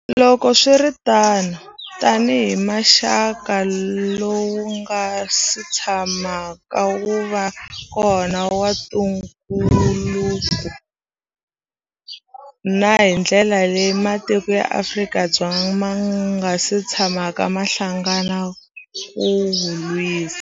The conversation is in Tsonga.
Loko swi ri tano, tanihi muxaka lowu wu nga si tshamaka wu va kona wa ntungukulu, na hi ndlela leyi matiko ya Afrika ma nga si tshamaka ma hlangana ku wu lwisa.